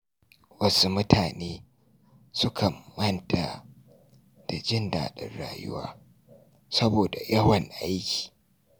Wasu mutane sukan manta da jin daɗin rayuwa saboda yawan aiki.